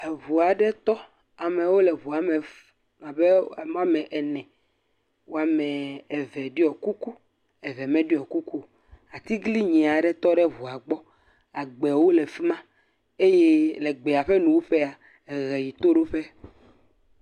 Ŋu aɖe tɔ. Amewo le ŋua me fu. Abe ame woame ene. Woameee eve ɖiɔ kuku. Eve meɖiɔ kuku o. Atiglinyi aɖe tɔ ɖe ŋua gbɔ. Agbewo le fi ma eye le gbea ƒe nuwuƒea, eʋe yi toɖoƒe.